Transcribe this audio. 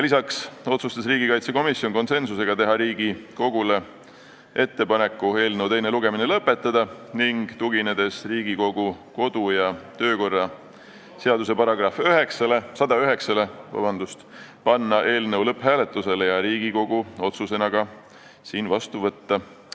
Lisaks otsustas komisjon konsensusega teha ettepaneku eelnõu teine lugemine lõpetada ning tuginedes Riigikogu kodu- ja töökorra seaduse §-le 109 panna eelnõu lõpphääletusele ja otsusena vastu võtta.